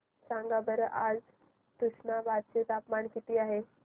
सांगा बरं आज तुष्णाबाद चे तापमान किती आहे